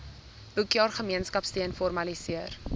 boekjaar gemeenskapsteun formaliseer